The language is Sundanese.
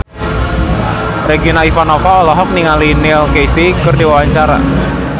Regina Ivanova olohok ningali Neil Casey keur diwawancara